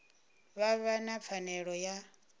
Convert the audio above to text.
vha vha na pfanelo ya